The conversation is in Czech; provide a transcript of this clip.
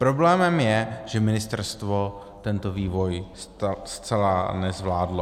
Problémem je, že ministerstvo tento vývoj zcela nezvládlo.